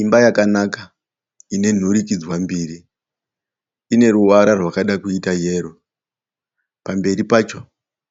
Imba yakanaka ine nhurikidzwa mbiri ine ruvara rwakada kuita yero. Pamberi pacho